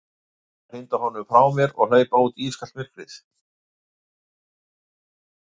Átti ég að hrinda honum frá mér og hlaupa út í ískalt myrkrið?